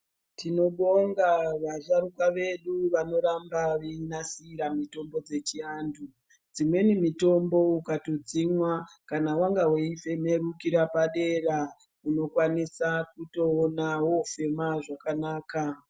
Tinobonga vasharukwa vedu vanoramba vechinasira mitombo dzechiantu dzimweni mitombo ukatodzimwa kana wanga weifemerukira padera unokwanisa kutoona wofema zvakanaka.